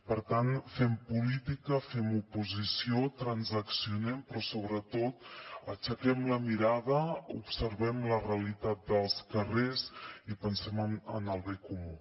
per tant fem política fem oposició transaccionem però sobretot aixequem la mirada observem la realitat dels carrers i pensem en el bé comú